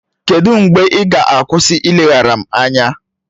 Kedụ mgbe ị ga-akwụsị ileghara m anya?